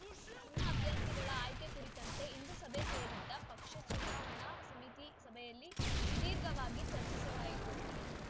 ತನ್ನ ಅಭ್ಯರ್ಥಿಗಳ ಆಯ್ಕೆ ಕುರಿತಂತೆ ಇಂದು ಸಭೆ ಸೇರಿದ್ದ ಪಕ್ಷದ ಚುನಾವಣಾ ಸಮಿತಿ ಸಭೆಯಲ್ಲಿ ಸುದೀರ್ಘವಾಗಿ ಚರ್ಚಿಸಲಾಯಿತು